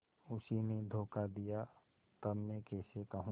उसी ने धोखा दिया तब मैं कैसे कहूँ